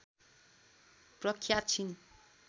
प्रख्यात छिन्